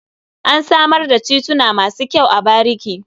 An samar da tituna masu kyau a bariki.